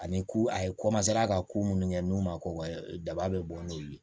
Ani ku a ye ka ko minnu kɛ n'u ma ko daba bɛ bɔ n'u ye